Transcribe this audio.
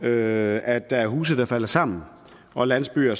at der er huse der falder sammen og landsbyer